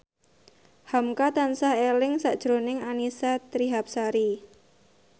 hamka tansah eling sakjroning Annisa Trihapsari